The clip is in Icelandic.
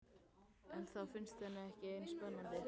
En það finnst henni ekki eins spennandi.